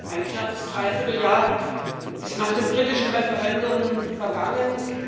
Ein knappes Dreivierteljahr ist nach dem britischen Referendum vergangenen.